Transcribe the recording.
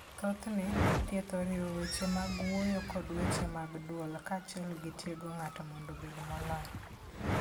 Thothne, thieth oriwo weche mag wuoyo kod weche mag dwol kaachiel gi tiego ng'ato mondo obed molony.